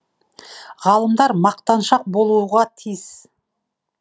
ғалымдар мақтаншақ болуға тиіс